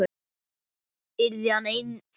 Yrði hann einn þarna?